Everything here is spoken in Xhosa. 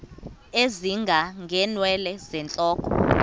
ezinga ngeenwele zentloko